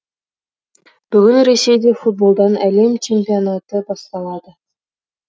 бүгін ресейде футболдан әлем чемпионаты басталады